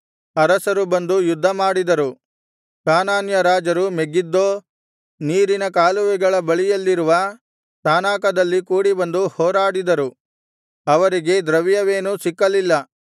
ಅರಸರು ಬಂದು ಯುದ್ಧಮಾಡಿದರು ಕಾನಾನ್ಯ ರಾಜರು ಮೆಗಿದ್ದೋ ನೀರಿನ ಕಾಲುವೆಗಳ ಬಳಿಯಲ್ಲಿರುವ ತಾನಾಕದಲ್ಲಿ ಕೂಡಿಬಂದು ಹೋರಾಡಿದರು ಅವರಿಗೆ ದ್ರವ್ಯವೇನೂ ಸಿಕ್ಕಲಿಲ್ಲ